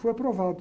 Fui aprovado.